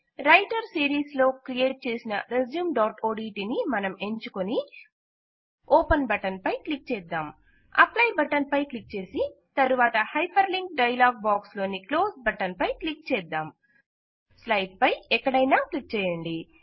writer series లో create చేసిన రెస్యూమ్ఓడిటి ని మనం ఎంచుకుని ఓపెన్ బటన్ పై క్లిక్ చేద్దాం అప్లై బటన్ పై క్లిక్ చేసి తరువాత హైపర్ లింక్ డైలాగ్ బాక్స్ లోని క్లోస్ బటన్ పై క్లిక్ చేద్దాం స్లైడ్ పై ఎక్కడైనా క్లిక్ చేయండి